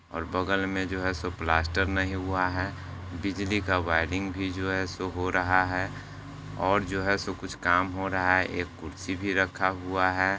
--और बगल में जो है सब प्लास्टर नहीं हुआ है बिजली का वायरिंग भी जो है सो हो रहा है और जो है सो कुछ काम हो रहा है एक कुर्सी भी रखा हुआ है।